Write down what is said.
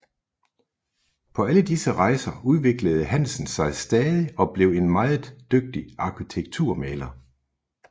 På alle disse rejser udviklede Hansen sig stadig og blev en meget dygtig arkitekturmaler